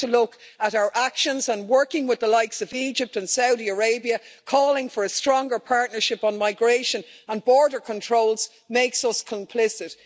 We have to look at our actions, and working with the likes of Egypt and Saudi Arabia, calling for a stronger partnership on migration and border controls, makes us complicit.